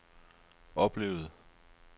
oplevede